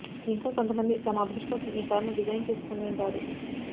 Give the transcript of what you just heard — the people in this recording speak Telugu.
ఇంకా కొంతమంది తమ అభిరుచి కోసం ఈ కారును డిజైన్ చేసుకుంటుంటారు